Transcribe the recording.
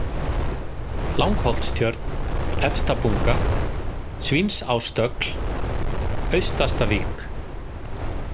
Langholtstjörn, Efstabunga, Svínsástögl, Austastavik